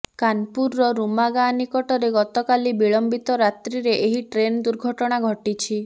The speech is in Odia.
କାନପୁରର ରୁମା ଗାଁ ନିକଟରେ ଗତକାଲି ବିଳମ୍ବିତ ରାତ୍ରିରେ ଏହି ଟ୍ରେନ୍ ଦୁର୍ଘଟଣା ଘଟିଛିି